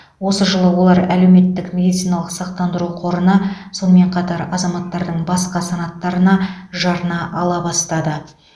осы жылы олар әлеуметтік медициналық сақтандыру қорына сонымен қатар азаматтардың басқа санаттарына жарна ала бастады